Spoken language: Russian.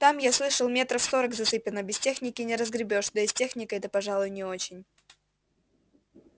там я слышал метров сорок засыпано без техники не разгребёшь да и с техникой-то пожалуй не очень